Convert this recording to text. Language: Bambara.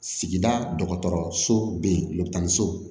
Sigida dɔgɔtɔrɔso bɛ yen mobili tan ni so